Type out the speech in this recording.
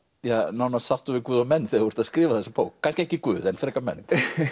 nánast sáttur við Guð og menn þegar þú skrifar þessa bók kannski ekki Guð en frekar menn